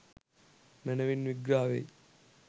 මැනවින් විග්‍රහ වෙයි.